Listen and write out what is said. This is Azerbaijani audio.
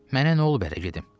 Mənə nə olub ərə gedim?